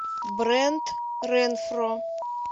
брэд ренфро